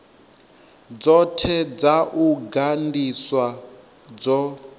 dzothe dza u gandiswa dzo